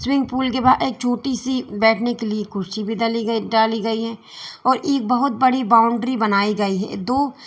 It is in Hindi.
स्विमिंग पूल के बाहर एक छोटी सी बैठने के लिए कुर्सी भी डाली गई डाली गई हैं और एक बहुत बड़ी बाउंड्री बनाई गई हैं दो--